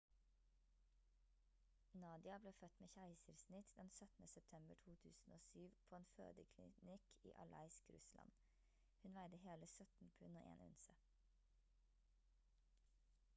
nadia ble født med keisersnitt den 17. september 2007 på en fødeklinikk i aleisk russland hun veide hele 17 pund og 1 unse